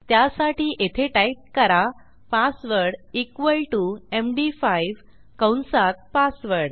त्यासाठी येथे टाईप करा पासवर्ड इक्वॉल टीओ एमडी5 कंसात पासवर्ड